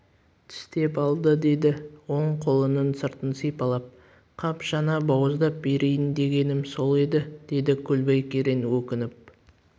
тістеп алды деді оң қолының сыртын сипалап қап жаңа бауыздап берейін дегенім сол еді деді көлбай керең өкініп